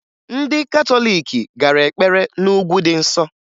Ndị katọliiki gara ekpere na Ugwu dị Nsọ